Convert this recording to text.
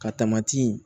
Ka tamati